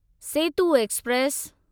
Setu express